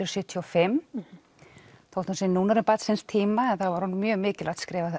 sjötíu og fimm þótt hún sé orðin barn síns tíma var hún mjög mikilvægt skref